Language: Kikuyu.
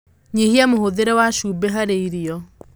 Nyihia muhuthire wa cumbĩ harĩ irio